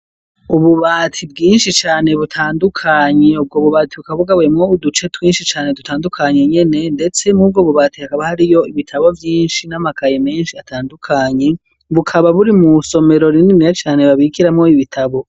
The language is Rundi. Ububati bwinshi cane butandukanye ubwo bubati bukaba bugabuwemwo uduce twinshi cane dutandukanye nyene ndetse murubwo bubati hakaba hariyo ibitabo vyinshi n'amakayi menshi atandukanye bukaba buri mu isomero rininiya cane babikiramwo ibitabo.